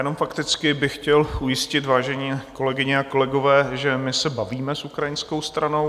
Jenom fakticky bych chtěl ujistit, vážené kolegyně a kolegové, že my se bavíme s ukrajinskou stranou.